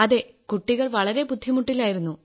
അതേ കുട്ടികൾ വളരെ ബുദ്ധിമുട്ടിലായിരുന്നു